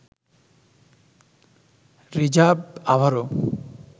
reserve আবারও